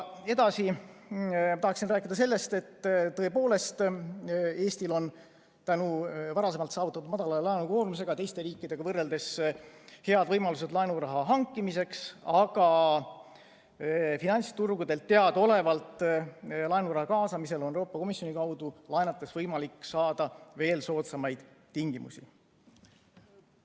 Edasi ma tahaksin rääkida sellest, et tõepoolest, Eestil on tänu varasemalt saavutatud väikesele laenukoormusele teiste riikidega võrreldes head võimalused laenuraha hankimiseks, aga finantsturgudelt laenuraha kaasamisel on teadaolevalt Euroopa Komisjoni kaudu laenates võimalik saada veel soodsamaid tingimusi.